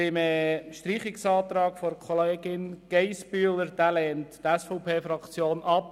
Den Streichungsantrag von Grossrätin Geissbühler lehnt die SVP-Fraktion ab.